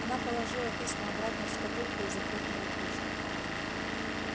она положила письма обратно в шкатулку и захлопнула крышку